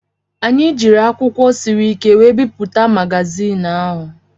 Anyị jiiri akwụkwọ siri ike were bipụta magazin ahụ.